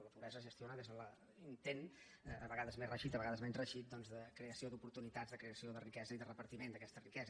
la pobresa es gestiona des de l’intent a vegades més reeixit a vegades menys reeixit doncs de creació d’oportunitats de creació de riquesa i de repartiment d’aquesta riquesa